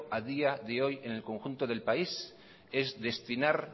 a día de hoy en el conjunto del país es destinar